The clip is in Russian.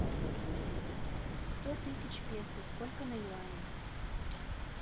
сто тысяч песо сколько на юани